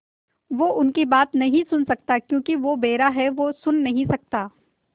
वो उनकी बात नहीं सुन सकता क्योंकि वो बेहरा है सुन नहीं सकता